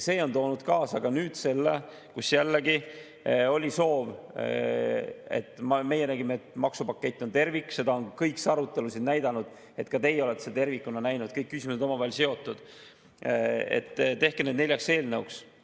See tõi kaasa selle, et kui me nägime, et maksupakett on tervik – seda on ka kogu see arutelu siin näidanud, ka teie olete seda tervikuna näinud, sest kõik küsimused on olnud omavahel seotud –, siis oli soov, et tehke see neljaks eelnõuks.